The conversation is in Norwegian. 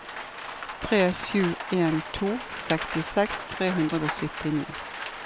tre sju en to sekstiseks tre hundre og syttini